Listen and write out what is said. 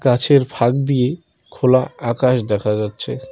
গাছের ফাঁক দিয়ে খোলা আকাশ দেখা যাচ্ছে।